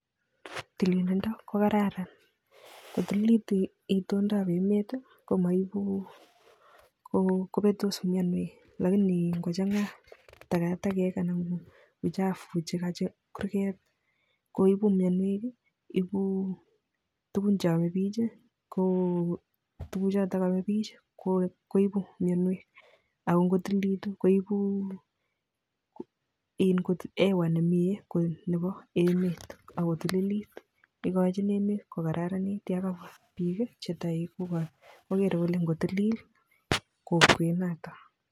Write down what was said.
Tililindo ko kararan, ngotililit itoondab emet komaibu, kopetos mianwek, alakini ngochanga takatakek anan ko uchafu chekanyi kurget koibu mianwek, ipuu tugun cheame biich, k tuguchoto aame biich koipu mianwek ako ngotililit koipu hewa nemnye ko nebo emet ako tililit. Ikochin emet kokararanit, ye kabwa biik che toek kogeere kole ngotilil kokwenotok.